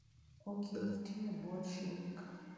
Okil tiyo e bwo chik.